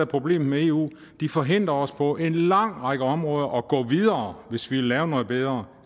problemet med eu de forhindrer os på en lang række områder i at gå videre hvis vi vil lave noget bedre